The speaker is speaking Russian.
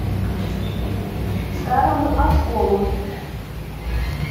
старому осколу